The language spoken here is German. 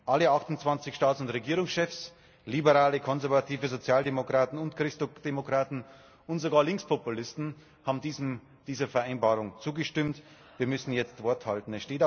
Alle 28 Staats und Regierungschefs Liberale, Konservative, Sozialdemokraten und Christdemokraten und sogar Linkspopulisten haben dieser Vereinbarung zugestimmt. Wir müssen jetzt Wort halten.